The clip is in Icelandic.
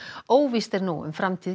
óvíst er nú um framtíð